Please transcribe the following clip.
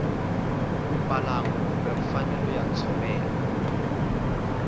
mbalango kumbe mfanelo ya ntshovelo